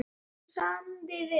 Okkur samdi vel.